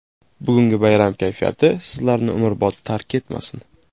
Bugungi bayram kayfiyati sizlarni umrbod tark etmasin.